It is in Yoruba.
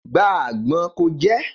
Gba àgbọn ko jẹ́